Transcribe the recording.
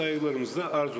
Hörmətlə təqdim olunur.